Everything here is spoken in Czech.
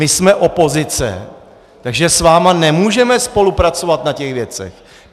My jsme opozice, takže s vámi nemůžeme spolupracovat na těch věcech!